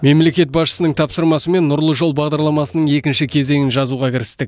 мемлекет басшысының тапсырмасымен нұрлы жол бағдарламасының екінші кезеңін жазуға кірістік